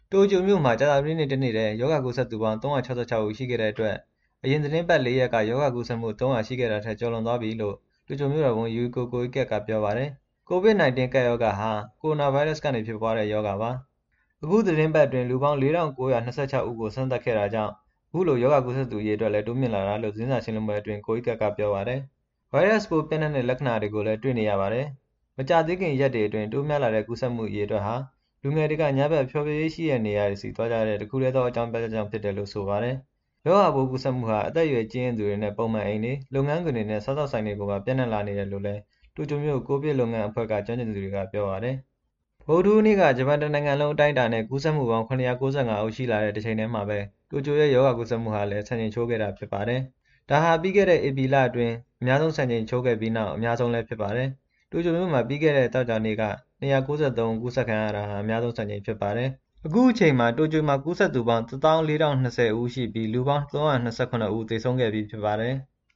တိုကျိုမြို့မှာ ကြာသပတေးနေ့တနေ့ထဲ ရောဂါကူးစက်သူပေါင်း ၃၆၆ ဦး ရှိခဲ့တဲ့အတွက် အရင်သီတင်းပတ် လေးရက်က ရောဂါကူးစက်မှု ၃၀၀ ရှိခဲ့တာထက် ကျော်လွန်သွားပြီလို့ တိုကျိုမြို့တော်ဝန် Yuriko Koike က ပြောပါတယ်။ ကိုဗစ် ၁၉ ဟာ ကိုရိုနာဗိုင်းရပ်စ်ကနေ ဖြစ်ပွားတဲ့ ရောဂါပါ။ အခုသီတင်းပတ်အတွင်း လူပေါင်း ၄,၉၂၆ ဦးကို စမ်းသပ်ခဲ့တာကြောင့် အခုလို ရောဂါကူးစက်သူအရေအတွက်လည်း တိုးမြင့်လာတာလို့ သတင်းစာရှင်းလင်းပွဲအတွင်း Koike က ပြောပါတယ်။ ဗိုင်းရပ်စ်ပိုး ပျံ့နှံ့ တဲ့လက္ခဏာတွေကိုလည်း တွေ့နေရပါတယ်။ မကြာသေးခင် ရက်တွေအတွင်း တိုးများလာတဲ့ ကူးစက်မှုအရေအတွက်ဟာ လူငယ်တွေက ညဘက် ဖျော်ဖြေရေးရှိတဲ့နေရာတွေကို သွားကြတဲ့ တခုထဲသော အကြောင်းပြချက်ကြောင့် ဖြစ်တယ်လို့ ဆိုပါတယ်။ ရောဂါပိုး ကူးစက်မှုဟာ အသက်အရွယ် ကြီးရင့်သူတွေနဲ့ ပုံမှန်အိမ်တွေ၊ လုပ်ငန်းခွင်တွေနဲ့ စားသောက်ဆိုင်တွေကိုပါ ပျံ့နှံ့လာနေတယ်လို့လည်း တိုကျိုမြို့ ကိုဗစ် လုပ်ငန်းအဖွဲ့က ကျွမ်းကျင်သူတွေက ပြောပါတယ်။ ဗုဒ္ဓဟူးနေ့က ဂျပန်တနိုင်ငံလုံး အတိုင်းအတာနဲ့ ကူးစက်မှုပေါင်း ၇၉၅ ဦး ရှိလာတဲ့ တချိန်ထဲမှာဘဲ တိုကျိုရဲ့ရောဂါကူးစက်မှုဟာလည်း စံချိန် ချိုးခဲ့တာ ဖြစ်ပါတယ်။ ဒါဟာ ပြီးခဲ့တဲ့ ဧပြီလအတွင်း အများဆုံး စံချိန်ခဲ့ပြီးနောက် အများဆုံးလည်း ဖြစ်ပါတယ်။ တိုကျိုမြို့မှာ ပြီးခဲ့တဲ့ သောကြာနေ့က ၂၉၃ ဦး ကူးစက်ခဲ့တာဟာ အများဆုံး စံချိန်ဖြစ်ပါတယ်။ အခုအချိန်မှာ တိုကျိုမှာ ကူးစက်သူပေါင်း ၁၀,၄၂၀ ဦးရှိပြီး လူပေါင်း ၃၂၇ ဦး သေဆုံးခဲ့ပြီး ဖြစ်ပါတယ်။